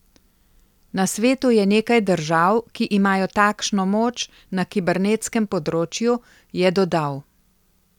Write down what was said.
Na svetu je nekaj držav, ki imajo takšno moč na kibernetskem področju, je dodal.